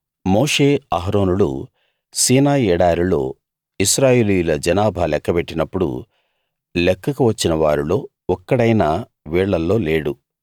మోషే అహరోనులు సీనాయి ఎడారిలో ఇశ్రాయేలీయుల జనాభా లెక్కపెట్టినప్పుడు లెక్కకు వచ్చిన వారిలో ఒక్కడైనా వీళ్ళల్లో లేడు